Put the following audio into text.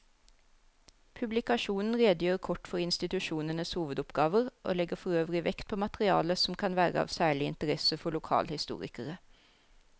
Publikasjonen redegjør kort for institusjonenes hovedoppgaver og legger forøvrig vekt på materiale som kan være av særlig interesse for lokalhistorikere.